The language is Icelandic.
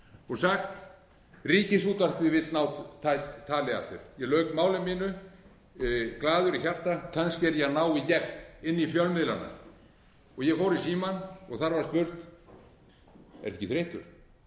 og sagt ríkisútvarpið vill ná tali af þér ég lauk máli mínu glaður í hjarta kannski er ég að ná í gegn inn í fjölmiðlana ég fór í símann og þar var spurt ertu ekki